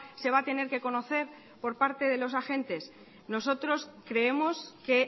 se va a tener que conocer por parte de los agentes nosotros creemos que